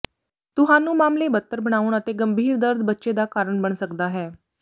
ਤੁਹਾਨੂੰ ਮਾਮਲੇ ਬਦਤਰ ਬਣਾਉਣ ਅਤੇ ਗੰਭੀਰ ਦਰਦ ਬੱਚੇ ਦਾ ਕਾਰਨ ਬਣ ਸਕਦਾ ਹੈ